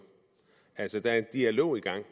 altså der er en dialog i gang